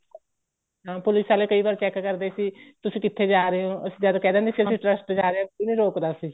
ਹਾਂ police ਵਾਲੇ ਕਈ ਵਾਰ check ਕਰਦੇ ਸੀ ਤੁਸੀਂ ਕਿੱਥੇ ਜਾ ਰਹੇ ਹੋ ਅਸੀਂ ਜਦ ਕਹਿ ਦਿੰਦੇ ਸੀ ਅਸੀਂ trust ਜਾ ਰਹੇ ਹਾਂ ਕੋਈ ਨਹੀਂ ਰੋਕਦਾ ਸੀ